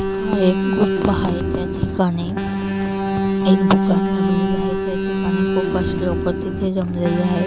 हा एक गुफा आहे. त्या ठिकाणी एक दुकान लागलेल आहे. त्या ठिकाणी खूपच लोक जमलेले आहेत.